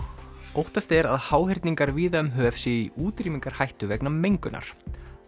óttast er að háhyrningar víða um höf séu í útrýmingarhættu vegna mengunar